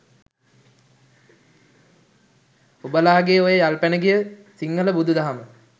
උබලගේ ඔය යල්පැනගිය සිංහල බුදු දහම